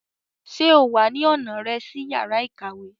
Ṣe o wa ni ọna rẹ si yara ikawe?